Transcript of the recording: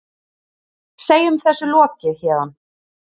Segjum þessu lokið héðan.